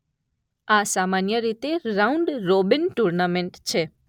જે સામાન્યરીતે round robin tournament છે.